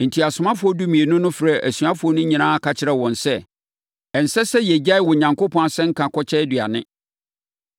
Enti, asomafoɔ dumienu no frɛɛ asuafoɔ no nyinaa ka kyerɛɛ wɔn sɛ, “Ɛnsɛ sɛ yɛgyae Onyankopɔn asɛnka kɔkyɛ aduane.